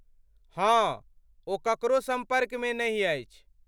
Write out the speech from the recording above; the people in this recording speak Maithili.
हँ, ओ ककरो सम्पर्कमे नहि अछि।